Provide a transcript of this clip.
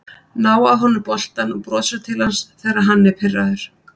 Ná af honum boltann og brosa til hans þegar hann er pirraður